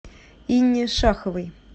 инне шаховой